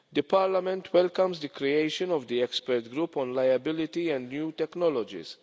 Parliament welcomes the creation of the expert group on liability and new technologies.